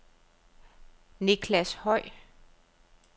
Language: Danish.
Niclas Høy